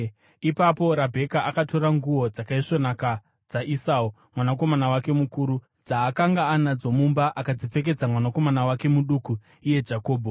Ipapo Rabheka akatora nguo dzakaisvonaka dzaEsau mwanakomana wake mukuru, dzaakanga anadzo mumba, akadzipfekedza mwanakomana wake muduku iye Jakobho.